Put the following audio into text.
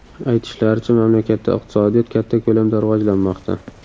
Aytishlaricha, mamlakatda iqtisodiyot katta ko‘lamda rivojlanmoqda?